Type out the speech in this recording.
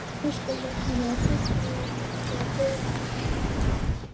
Höskuldur Kári: Er fólk nú þegar byrjað að panta?